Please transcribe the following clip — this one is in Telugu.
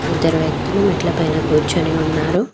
ఇద్దరు వ్యక్తులు మెట్లపైన కూర్చొని ఉన్నారు.